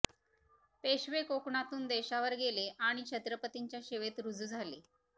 पेशवे कोकणातून देशावर गेले आणि छत्रपतींच्या सेवेत रुजू झाले